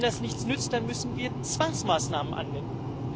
Wenn das nichts nützt, dann müssen wir Zwangsmaßnahmen anwenden.